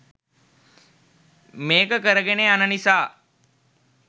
මේක කරගෙන යන නිසා.